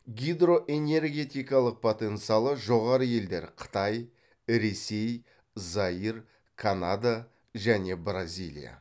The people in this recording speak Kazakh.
гидроэнергетикалық потенциалы жоғары елдер қытай ресей заир канада және бразилия